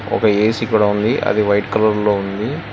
ఒక ఏ_సీ కూడా ఉంది అది వైట్ కలర్ లో ఉంది.